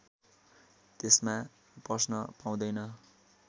त्यसमा पस्न पाउँदैन